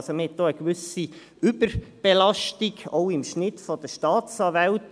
Man hat also eine gewisse Überbelastung, auch im Schnitt pro Staatsanwalt.